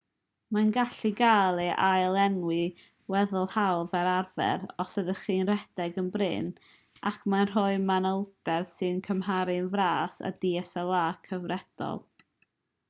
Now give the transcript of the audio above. mae'n gallu cael ei ail-lenwi'n weddol hawdd fel arfer os ydych chi'n rhedeg yn brin ac mae'n rhoi manylder sy'n cymharu'n fras â dslr cyfredol